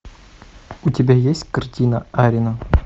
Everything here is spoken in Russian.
у тебя есть картина арина